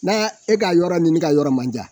N'a y'a e ka yɔrɔ ni ne ka yɔrɔ man jan